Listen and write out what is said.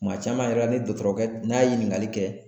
Kuma caman yɛrɛ ni dɔgɔtɔrɔkɛ n'a ye ɲininkali kɛ